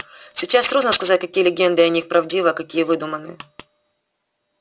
сейчас трудно сказать какие легенды о них правдивы а какие выдуманы